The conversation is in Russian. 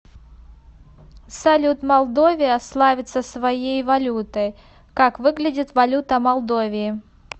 салют молдовия славится своей валютой как выглядит валюта молдовии